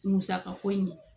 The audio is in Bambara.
Musaka ko in